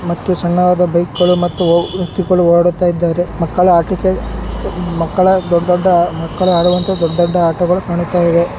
ಮತ್ತು ಸಣ್ಣವಾದ ಬೈಕ್ಗಳು ಮತ್ತು ವ್ಯಕ್ತಿಗಳು ಓಡಾಡುತ್ತಾ ಇದ್ದಾರೆ. ಮಕ್ಕಳ ಆಟಿಕೆ ಮಕ್ಕಳ ದೊಡ್ ದೊಡ್ಡ ಮಕ್ಕಳ ಆಡುವಂತ ದೊಡ್ ದೊಡ್ಡ ಆಟಗಳು ಕಾಣುತ್ತ ಇವೆ.